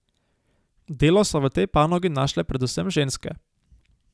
Delo so v tej panogi našle predvsem ženske.